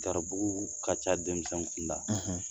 Garibu ka ca denmisɛn kunda